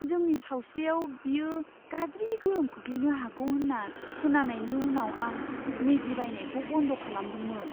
जोंनि सावस्रियाव बेयो गाज्रि गोहोम खोख्लैनो हागौ होन्ना खोनानायनि उनाव आं मेगी बायनायखौ बन्द खालामदोंमोन।